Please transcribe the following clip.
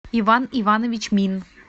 иван иванович мин